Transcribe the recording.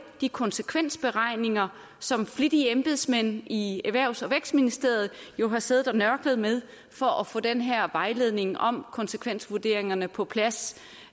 de konsekvensberegninger som flittige embedsmænd i erhvervs og vækstministeriet har siddet og nørklet med for at få den her vejledning om konsekvensvurderingerne på plads